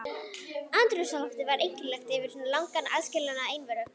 Andrúms loftið var einkennilegt eftir svo langan aðskilnað og einveru.